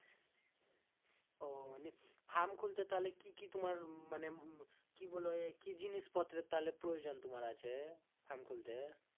ও নি farm খুলতে কি কি তোমার মানে কি বলে কি জিনিস পত্র তাহলে প্রয়োজন তোমার আছে farm খুলতে